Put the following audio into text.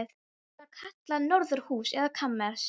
Var það kallað norðurhús eða kamers